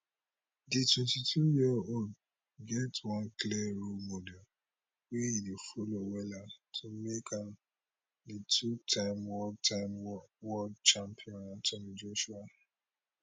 di 22yearold get one clear role model wey e dey follow wella to make am di two time world time world champion anthony joshua